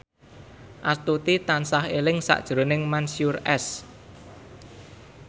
Astuti tansah eling sakjroning Mansyur S